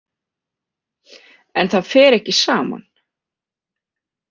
En það fer ekki saman.